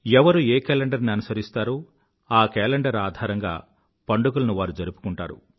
ఎవరు ఏ కేలండర్ ని అనుసరిస్తారో ఆ కేలెండర్ ఆధారంగా పండుగలను వారు జరుపుకుంటారు